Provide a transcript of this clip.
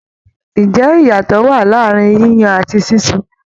Ǹjẹ́ iyatọ wa ní àárín yíyan àti sísun?